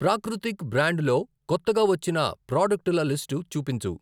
ప్రాకృతిక్ బ్రాండులో కొత్తగా వచ్చిన ప్రాడక్టుల లిస్టు చూపించు?